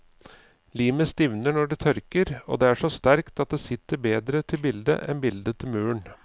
Limet stivner når det tørker, og det er så sterkt at det sitter bedre til bildet enn bildet til muren.